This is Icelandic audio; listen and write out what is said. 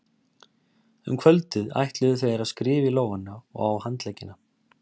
Um kvöldið ætluðu þær að skrifa í lófana og á handleggina.